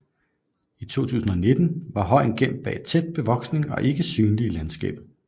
I 2019 var højen gemt bag tæt bevoksning og ikke synlig i landskabet